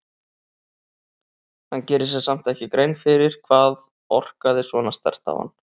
Hann gerir sér samt ekki grein fyrir hvað orkaði svona sterkt á hann.